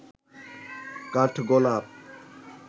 কাঠগোলাপ